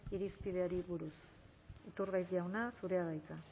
irizpideari buruz iturgaiz jauna zurea da hitza